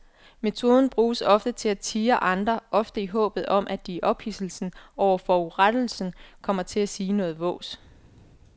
Metoden bruges til at tirre andre, ofte i håbet om at de i ophidselsen over forurettelsen kommer til at sige noget vås.